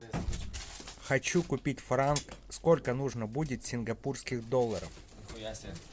хочу купить франк сколько нужно будет сингапурских долларов